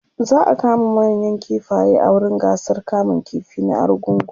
za'a kama manayan kifaye a wurin gasar kamun ƙifi na argungu